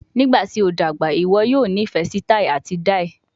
Nigbati o dagba, iwọ yoo nifẹ si tai ati dai?